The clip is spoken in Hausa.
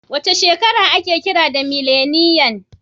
Wace shekara aka kira mileniyan?